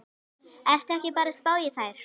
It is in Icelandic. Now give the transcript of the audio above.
Ertu ekki bara að spá í þær?